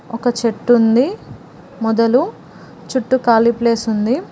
ఒక చెట్టు ఉంది మొదలు చుట్టూ ఖాళీ ప్లేస్ ఉంది.